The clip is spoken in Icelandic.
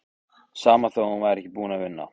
Sama þó að hún væri ekki búin að vinna.